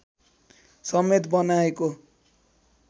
समेत बनाएको